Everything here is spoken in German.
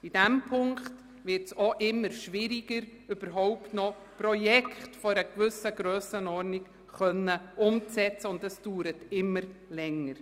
In diesem Punkt wird es immer schwieriger, überhaupt noch Projekte einer gewissen Grössenordnung umzusetzen, und dies dauert länger.